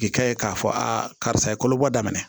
K'i kɛ ye k'a fɔ a karisa ye kolobɔ daminɛ